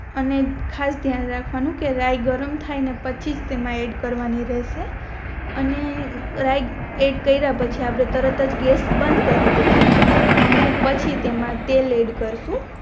અને ખાસ દ્યાન રાખવાનું કે રાય ગરમ થઈ પછીજ તેમાં એડ કરવાની રેહશે અને રાય એડ કરિયા પછી આપણે તરત આજ ગેસ બંદ કરી દેસું અને પછી તેમા તલ એડ કરશું